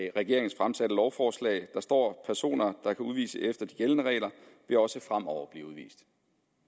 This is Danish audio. i regeringens fremsatte lovforslag der står personer der kan udvises efter de gældende regler vil også fremover blive udvist